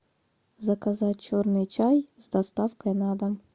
заказать черный чай с доставкой на дом